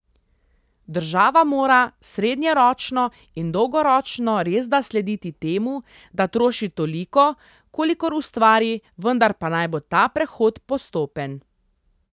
Država mora srednjeročno in dolgoročno resda slediti temu, da troši toliko, kolikor ustvari, vendar pa naj bo ta prehod postopen.